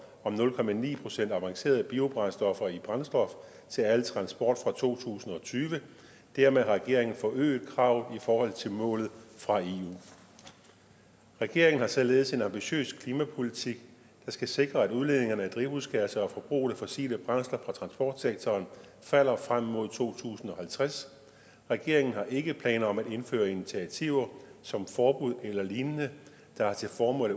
om nul procent avancerede biobrændstoffer i brændstof til al transport fra to tusind og tyve dermed har regeringen forøget kravet i forhold til målet fra eu regeringen har således en ambitiøs klimapolitik der skal sikre at udledninger af drivhusgasser og forbruget af fossile brændsler fra transportsektoren falder frem mod to tusind og halvtreds regeringen har ikke planer om at indføre initiativer som forbud eller lignende der har til formål